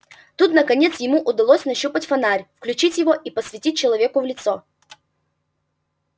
тут наконец ему удалось нащупать фонарь включить его и посветить человеку в лицо